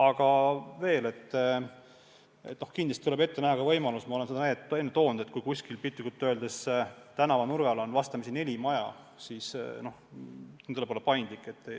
Aga veel, kindlasti tuleb ette näha ka võimalus – ma olen seda näidet enne toonud –, et kui kuskil piltlikult öeldes tänavanurgal on vastamisi neli maja, siis tuleb olla paindlik.